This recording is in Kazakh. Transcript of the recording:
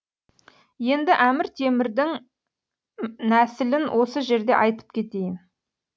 енді әмір темірдің нәсілін осы жерде айтып кетейін